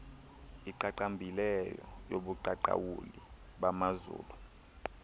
iqaqambileyo yobuqaqawuli bamazulu